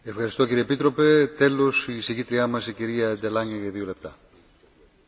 Voorzitter, ik wil de collega's bedanken voor hun inbreng vanuit allerlei invalshoeken.